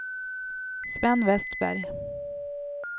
Sven Westberg